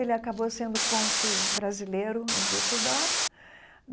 Ele acabou sendo cônsul brasileiro em Düsseldorf.